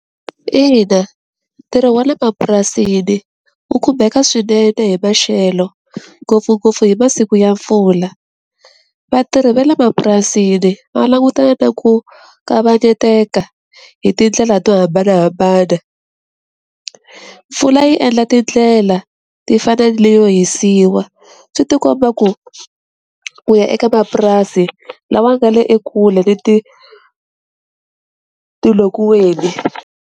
Ina, ntirho wa le mapurasini u khumbeka swinene hi maxelo ngopfungopfu hi masiku ya mpfula. Vatirhi va le mapurasini va langutana na ku kavanyeteka hi tindlela to hambanahambana, mpfula yi endla tindlela ti fana ni leyi yo hisiwa swi tikomba ku ku ya eka mapurasi lawa ka le ekule leti ti lo ku we ni.